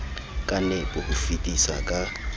ka nepo ho fetisa ka